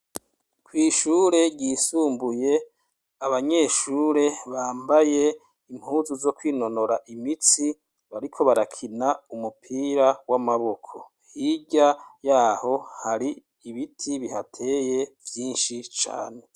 Kw'ishure ry'isumbuye abanyeshure bambaye impuzu zo kwinonora imitsi bariko barakina umupira w'amaboko hirya yaho hari ibiti bihateye vyinshi cane.